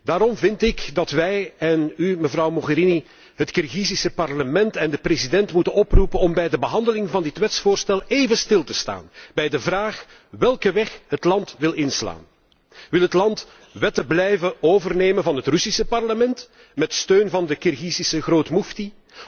Daarom vind ik dat wij en u, mevrouw Mogherini, het Kirgizische parlement en de president moeten oproepen om bij de behandeling van dit wetsvoorstel even stil te staan bij de vraag welke weg het land wil inslaan. Wil het land wetten blijven overnemen van het Russische parlement, met steun van de Kirgizische grootmoefti?